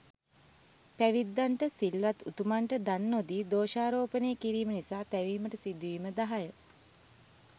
පැවිද්දන්ට, සිල්වත් උතුමන්ට දන් නොදී දෝෂාරෝපණය කිරීම නිසා තැවීමට සිදුවීම 10.